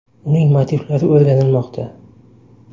Uning motivlari o‘rganilmoqda.